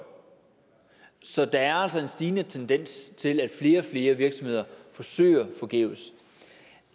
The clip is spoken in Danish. så der er altså en stigende tendens til at flere og flere virksomheder søger forgæves